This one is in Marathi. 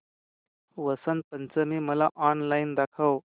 वसंत पंचमी मला ऑनलाइन दाखव